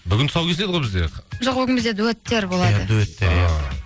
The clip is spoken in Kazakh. бүгін тұсауы кесіледі ғой бізде жоқ бүгін біздер дуэттер болады